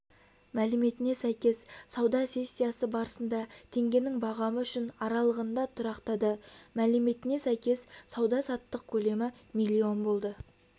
мәліметіне сәйкес сауда сессиясы барысында теңгенің бағамы үшін аралығында тұрақтады мәліметіне сәйкес сауда-саттық көлемі млн болды